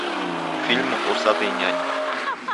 фильм усатый нянь